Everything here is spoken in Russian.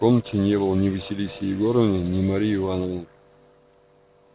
в комнате не было ни василисы егоровны ни марии ивановны